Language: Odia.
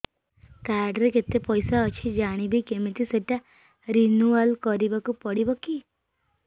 କାର୍ଡ ରେ କେତେ ପଇସା ଅଛି ଜାଣିବି କିମିତି ସେଟା ରିନୁଆଲ କରିବାକୁ ପଡ଼ିବ କି